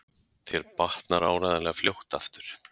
Þér batnar áreiðanlega fljótt aftur